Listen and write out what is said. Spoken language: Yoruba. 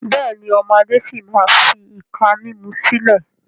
Bẹ́ẹ̀ni, ọmọ Adé si maa fi ìka mímú sílẹ̀